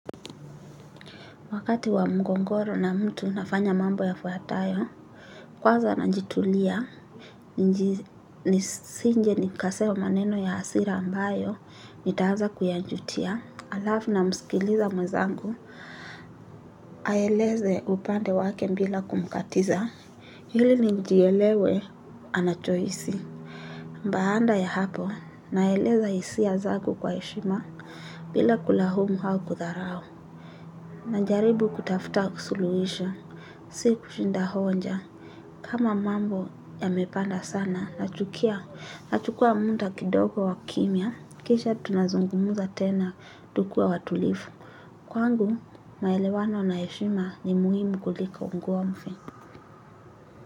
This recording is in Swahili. Wakati wa mgogoro na mtu nafanya mambo yafuatayo, kwanza najitulia, nisije nikasema maneno ya hasira ambayo, nitaanza kuyajutia, alafu namskiliza mwezangu, aeleze upande wake bila kumkatiza, ili nijielewe anachohisi. Baada ya hapo, naeleza hisia zangu kwa heshima, bila kulaumu au kudharau. Najaribu kutafuta kusuluhisha, si kushinda hoja. Kama mambo yamepanda sana, nachukia, nachukua muda kidogo wa kimya, kisha tunazungumuza tena, tukuwa watulivu. Kwangu, maelewano na heshima ni muhimu kuliko ugomvi.